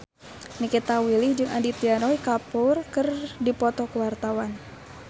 Nikita Willy jeung Aditya Roy Kapoor keur dipoto ku wartawan